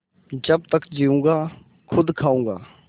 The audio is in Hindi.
जब तक जीऊँगा खुद खाऊँगा